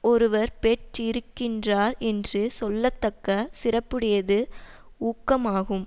ஒருவர் பெற்றிருக்கின்றார் என்று சொல்லத்தக்க சிறப்புடையது ஊக்கமாகும்